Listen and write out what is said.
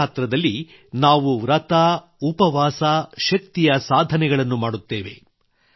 ನವರಾತ್ರಿಯಲ್ಲಿ ನಾವು ವ್ರತ ಉಪವಾಸ ಶಕ್ತಿಯ ಸಾಧನೆಗಳನ್ನು ಮಾಡುತ್ತೇವೆ